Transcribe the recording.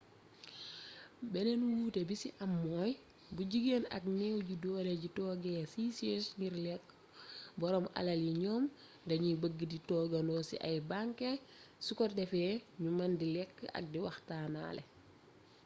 beneen wuute bi ci am mooy bu jigéen ak néew ji doole ji toogee ciy chaise ngir lekk boroom alal yi ñoom dañuy bëgg di toogandoo ci ay banquet su ko defee ñu mën di lekk ak di waxtaanaale